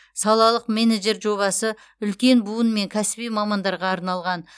салалық менеджер жобасы үлкен буын мен кәсіби мамандарға арналған